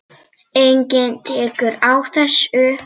Enginn tekur á þessu.